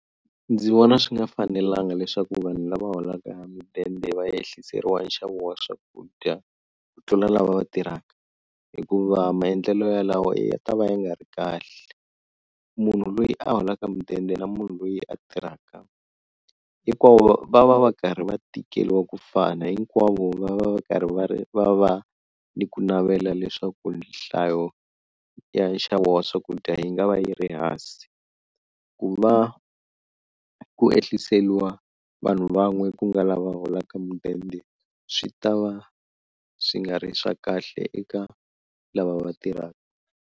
Ndzi vona swi nga fanelanga leswaku vanhu lava holaka mudende va yehliseriwa nxavo wa swakudya ku tlula lava tirhaka hikuva maendlelo yalawo ya ta va ya nga ri kahle munhu loyi a holaka mudende na munhu loyi a tirhaka hinkwavo va va va karhi va tikeriwa ku fana hinkwavo va va va karhi va va va ni ku navela leswaku nhlayo ya nxavo wa swakudya yi nga va yi ri hansi ku va ku yehliseliwa vanhu van'we ku nga lava holaka mudende swi ta va swi nga ri swa kahle eka lava va tirhaka.